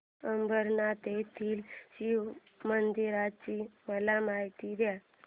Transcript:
अंबरनाथ येथील शिवमंदिराची मला माहिती दे